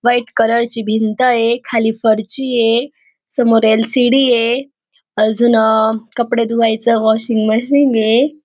White colour ची भिंतय खाली फर्चीये समोर ल.सी.डी ये अजून कपडे धुवायच वाशिंग मशीनय .